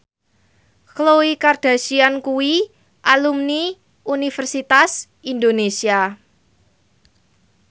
Khloe Kardashian kuwi alumni Universitas Indonesia